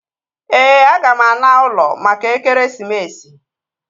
Ee, aga m ana ụlọ maka ekeresimesi